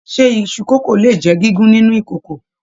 Ṣe iṣu kókó le jẹ gígùn nínú kòkò?